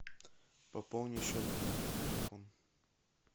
пополни счет мне на телефон